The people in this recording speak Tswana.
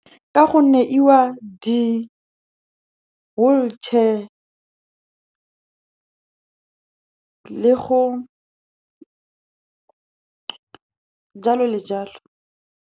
Ka gonne e wa di-wheelchair le go, jalo le jalo.